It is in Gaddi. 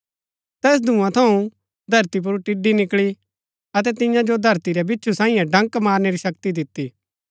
तैस धूंआ थऊँ धरती पुर टिड्ड़ी निकळी अतै तियां जो धरती रै बिच्छु सांईये डंक मारनै री शक्ति दिती